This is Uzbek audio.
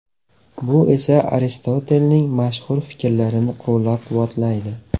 Bu esa Aristotelning mashhur fikrlarini qo‘llab-quvvatlaydi.